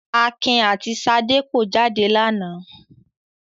Akin àti Ṣadé kọ jáde lánàá.